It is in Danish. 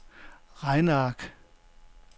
regneark